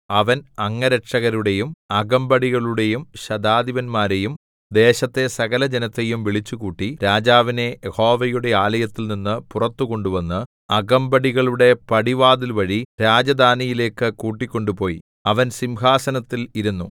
അവൻ അംഗരക്ഷകരുടെയും അകമ്പടികളുടെയും ശതാധിപന്മാരെയും ദേശത്തെ സകലജനത്തെയും വിളിച്ചുകൂട്ടി രാജാവിനെ യഹോവയുടെ ആലയത്തിൽനിന്ന് പുറത്ത് കൊണ്ടുവന്ന് അകമ്പടികളുടെ പടിവാതിൽവഴി രാജധാനിയിലേക്ക് കൂട്ടിക്കൊണ്ട് പോയി അവൻ സിംഹാസനത്തിൽ ഇരുന്നു